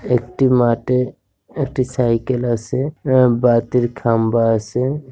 একটি মাঠে একটি সাইকেল আছে আ বাতির খাম্বা আছে ।